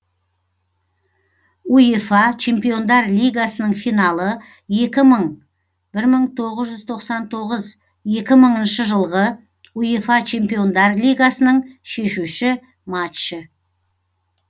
уефа чемпиондар лигасының финалы екі мың бір мың тоғыз жүз тоқсан тоғыз екі мыңыншы жылғы уефа чемпиондар лигасының шешуші матчы